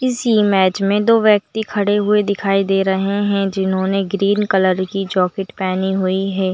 इस इमेज में दो व्यक्ति खड़े हुए दिखाई दे रहे है जिन्होंने ग्रीन कलर की जॉकेट पहनी हुई हैं।